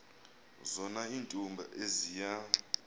zona iintombi eziya